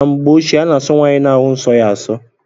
N'mgbe ochie ana aso nwaanyị na-ahu nsó ya aso.